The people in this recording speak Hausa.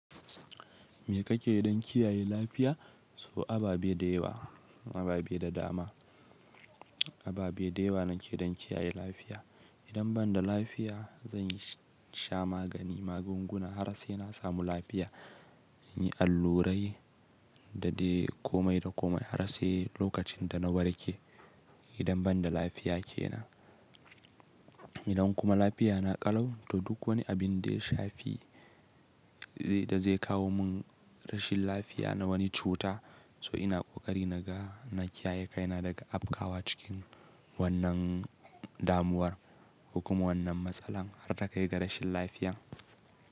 Me kake yi don kiyaye lafiya? So ababe da yawa, ababe da dama. Ababe da yawa nake dan kiyaye lafiya. Idan ban da lafiya, zan sha magani, magunguna har sai na samu lafiya. In yi allurai da dai komai da komai har sai lokacin da na warke. Idan ban da lafiya kenan, idan kuma lafiya na ƙalau, to duk wani abin da ya shafi da zai kawo mun rashin lafiya na wani cuta. To ina ƙoƙari naga na kiyaye kaina daga afkawa cikin wannan damuwar ko kuma wannan matsalar har ta kai ga rashin lafiya.